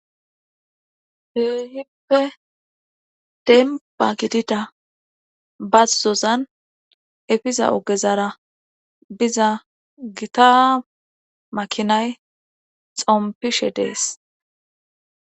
Keehippe demba gidida bazozan efiza ogezara biza gita makinay xompishe dees.